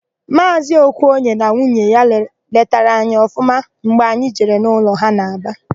Maazị Okoye na nwunye ya letara anyị ọfụma mgbe anyị jere n'ụlọ ha n'Aba.